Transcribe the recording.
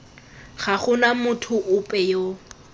ga gona motho ope yo